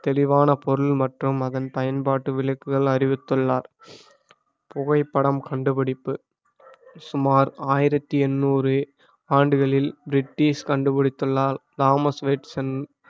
தெளிவான பொருள் மற்றும் அதன் பயன்பாட்டு விளக்குகள் அறிவித்துள்ளார் புகைப்படம் கண்டுபிடிப்பு சுமார் ஆயிரத்தி எட்நூறு ஆண்டுகளில் பிரிட்டிஷ் கண்டுபிடித்துள்ளால் தாமஸ் வாட்சன்